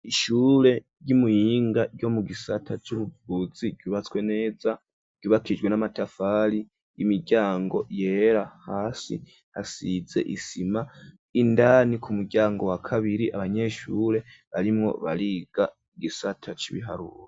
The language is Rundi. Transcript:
Ishure ry'imuyinga ryo mu gisata c'ubuvuzi ryubatswe neza ryubakijwe n'amatafari y'imiryango yera hasi hasize isima indani ku muryango wa kabiri abanyeshure arimwo bariga igisata c'ibiharuwo.